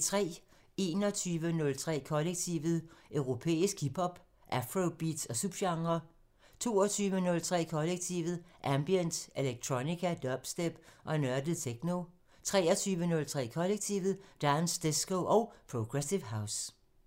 21:03: Kollektivet: Europæisk hip hop, afrobeats og subgenrer 22:03: Kollektivet: Ambient, electronica, dubstep og nørdet techno 23:03: Kollektivet: Dance, disco og progressive house